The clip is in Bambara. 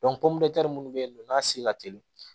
minnu bɛ yen nɔ n'a si ka teli